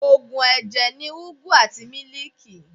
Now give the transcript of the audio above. Òògùn ẹ̀jẹ̀ ni ugwu àti mílíìkì.